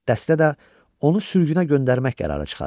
Dəstə də onu sürgünə göndərmək qərarı çıxarıb.